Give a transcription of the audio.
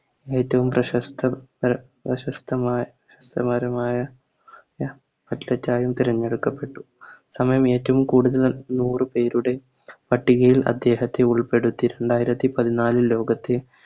ഏറ്റോം പ്രശസ്ത തല പ്രശസ്തമായ മാരുമായ Athlete ആയും തിരഞ്ഞെടുക്കപ്പെട്ടു സമയം ഏറ്റോം കൂടുതൽ നൂറ് പേരുടെ പട്ടികയിൽ അദ്ദേഹത്തെ ഉൾപ്പെടുത്തി രണ്ടായിരത്തി പതിനാലിൽ ലോകത്തെ